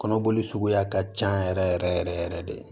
Kɔnɔboli suguya ka can yɛrɛ yɛrɛ yɛrɛ yɛrɛ de